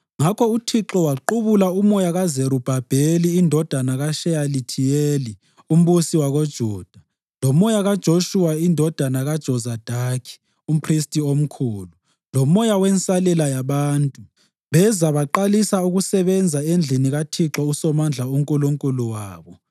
Ngakho uThixo waqubula umoya kaZerubhabheli indodana kaSheyalithiyeli, umbusi wakoJuda, lomoya kaJoshuwa indodana kaJozadaki, umphristi omkhulu, lomoya wensalela yabantu. Beza baqalisa ukusebenza endlini kaThixo uSomandla uNkulunkulu wabo,